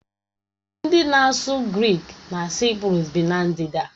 Ndị na-asụ Grik na Saịprọs bi na ndịda